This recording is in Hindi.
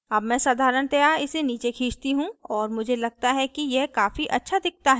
अब मैं साधारणतया इसे नीचे खींचती हूँ और मुझे लगता है कि यह काफी अच्छा दिखता है